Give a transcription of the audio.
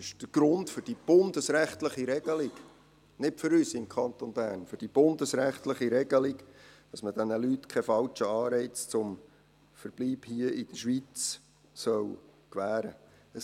Der Grund für die bundesrechtliche Regelung, nicht für uns im Kanton Bern, ist, dass man diesen Leuten keinen falschen Anreiz für den Verbleib hier in der Schweiz schaffen soll.